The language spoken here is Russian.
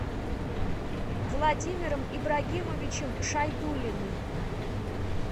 владимиром ибрагимовичем шайдуллиным